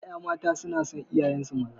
Ƴaƴa mata sunason iyayensu maza